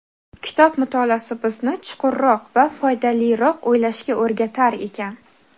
Kitob mutolaasi bizni chuqurroq va foydaliroq o‘ylashga o‘rgatar ekan.